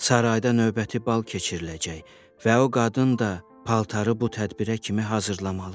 Sarayda növbəti bal keçiriləcək və o qadın da paltarı bu tədbirə kimi hazırlamalıdır.